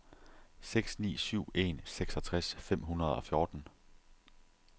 seks ni syv en seksogtres fem hundrede og fjorten